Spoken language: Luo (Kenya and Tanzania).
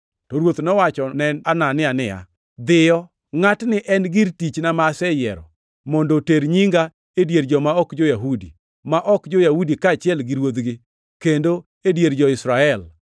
To Ruoth nowachone Anania niya, “Dhiyo! Ngʼatni en gir tichna ma aseyiero mondo oter nyinga e dier joma ok jo-Yahudi ma ok jo-Yahudi kaachiel gi ruodhigi; kendo e dier jo-Israel.